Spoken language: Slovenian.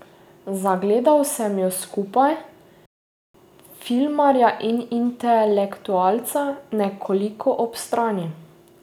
Zagledal sem ju skupaj, filmarja in intelektualca, nekoliko ob strani.